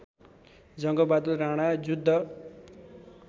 Jangbahadur Rana Juddha